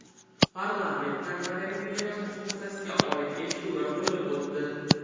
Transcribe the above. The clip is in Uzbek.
Parlamentda madaniy meros muhofazasiga oid eshituvlar bo‘lib o‘tdi.